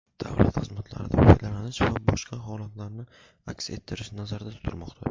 davlat xizmatlaridan foydalanish va boshqa holatlarni aks ettirish nazarda tutilmoqda.